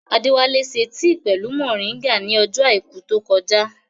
Adéwálá ṣe tì pẹ̀lú mọ̀ríngà ní ọjọ́ àìkú tó kọjá